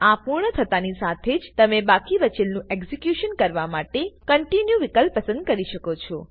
આ પૂર્ણ થતાની સાથે જ તમે બાકી બચેલ નું એક્ઝેક્યુશન કરવા માટે કોન્ટિન્યુ વિકલ્પ પસંદ કરી શકો છો